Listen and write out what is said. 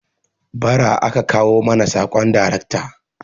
Ba ra aka kawo mana sabon darekta